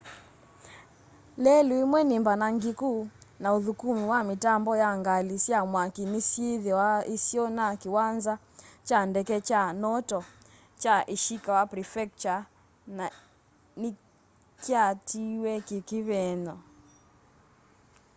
lelũ ĩmwe nĩ mbanangĩkũ na ũthũkũmĩ wa mitambo ya ngalĩ sya mwakĩ nĩsyĩ thũa ĩsĩo na kĩwanza kya ndeke kya noto kya ĩshĩkawa prefectũre nĩkyatĩwee kĩkĩvĩng'e